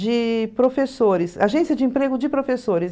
de professores, agência de emprego de professores.